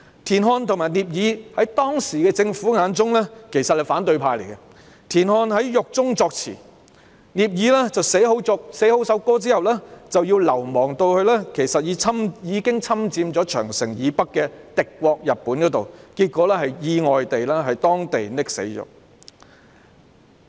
田漢和聶耳其實是當時政府眼中的反對派，田漢在獄中作詞，聶耳寫好曲譜後要流亡到已侵佔長城以北的敵國日本，結果在當地意外溺死。